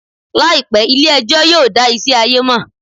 Làìpé, ilé ẹjọ́ yóò dá ìṣe ayé mọ̀